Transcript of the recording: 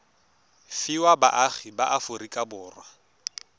fiwa baagi ba aforika borwa